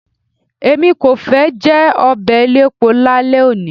Èmi kò fẹ́ jẹ ọbẹ̀ elépo lálẹ́ òní.